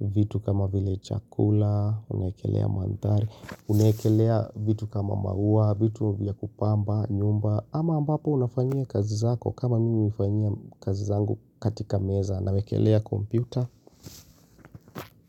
vitu kama vile chakula, unawekelea mandhari, unawekelea vitu kama maua, vitu vya kupamba, nyumba, ama ambapo unafanyia kazi zako kama mimi hufanyia kazi zangu katika meza ninawekelea computer.